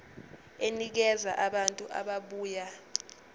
enikeza abantu ababuya